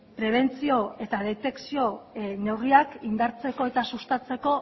prebentzio eta detekzio neurriak indartzeko eta sustatzeko